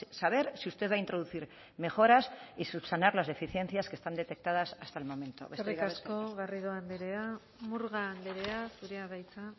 es saber si usted va a introducir mejoras y subsanar las deficiencias que están detectadas hasta el momento besterik gabe eskerrik asko eskerrik asko garrido andrea murga andrea zurea da hitza